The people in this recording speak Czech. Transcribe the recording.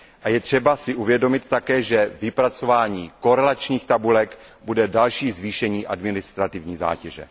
Je třeba si také uvědomit, že vypracování korelačních tabulek bude další zvýšení administrativní zátěže.